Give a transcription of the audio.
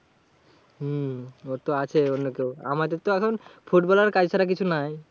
হম ওর তো আছে অন্য কেউ। আমাদের তো এখন ফুটবল আর কাজ ছাড়া কিছু নাই।